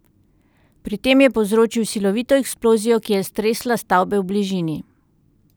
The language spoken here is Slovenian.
Pri tem je povzročil silovito eksplozijo, ki je stresla stavbe v bližini.